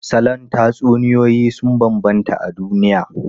Salon tatsuniyoyi sun bambanta a duniya.